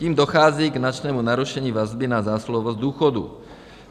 Tím dochází k značnému narušení vazby na zásluhovost důchodů.